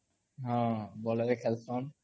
ହଁ ବଲ୍ ରେ ଖେଲସନ୍